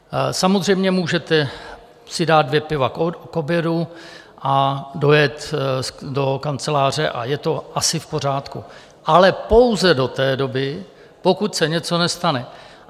Samozřejmě, můžete si dát dvě piva k obědu a dojet do kanceláře a je to asi v pořádku, ale pouze do té doby, pokud se něco nestane.